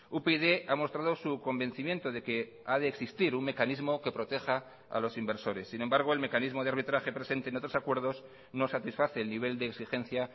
upyd ha mostrado su convencimiento de que ha de existir un mecanismo que proteja a los inversores sin embargo el mecanismo de arbitraje presente en otros acuerdos no satisface el nivel de exigencia